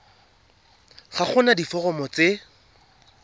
ga go na diforomo tse